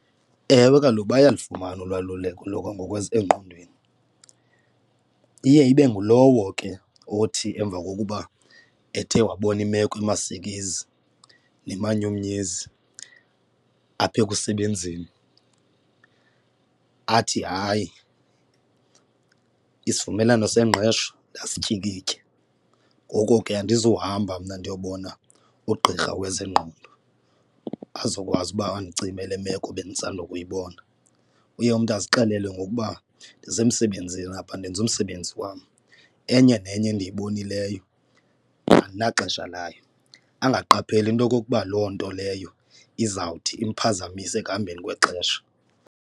Ewe, kaloku bayalufumana olwaluleko lokwangasengqondweni, iye ibe ngulowo ke othi emva kokuba ethe wabona imeko imasikizi nemanyumnyezi apha ekusebenzeni athi, hayi, isivumelwano sengqesho ndasityikitya, ngoko ke andizuhamba mna ndiyobona ugqirha wezengqondo azokwazi uba andicime le meko bendisanda kuyibona. Uye umntu azixelele ngokuba ndisemsebenzini apha ndenza umsebenzi wam, enye nenye endiyibonileyo andinaxesha layo, angaqapheli into okokuba loo nto leyo izawuthi imphazamise ekuhambeni kwexesha.